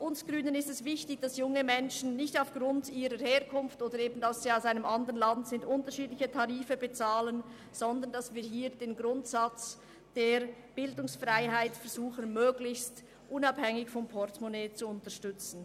Uns Grünen ist es wichtig, dass junge Menschen nicht aufgrund ihrer Herkunft beziehungsweise ihres Wohnsitzes andere Tarife bezahlen, sondern dass wir den Grundsatz der Bildungsfreiheit möglichst unabhängig vom Portemonnaie unterstützen.